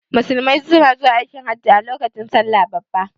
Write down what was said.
Musulmai suna zuwa aikin hajin a lokacin salla babba